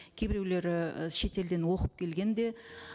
кейбіреулері і шетелден оқып келген де